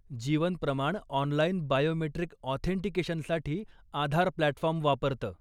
जीवन प्रमाण online biometric ऑथेंटिकेशनसाठी Aadhaar platform वापरतं.